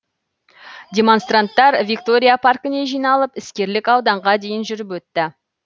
демонстранттар виктория паркіне жиналып іскерлік ауданға дейін жүріп өтті